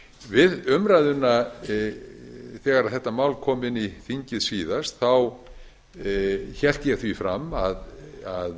við umræðuna þegar þetta mál kom inn í þingið síðast hélt ég því fram að